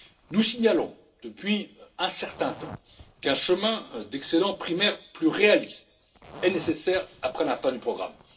Nous signalons depuis un certain temps qu'un chemin d'excédents primaires plus réaliste est nécessaire après la fin du